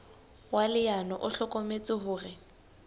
wa leano o hlokometse hore